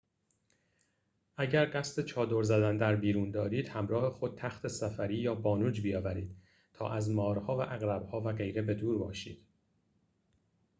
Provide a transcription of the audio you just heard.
اگر قصد چادر زدن در بیرون دارید همراه خود تخت سفری یا بانوج بیاورید تا از مارها و عقرب‌ها و غیره به دور باشید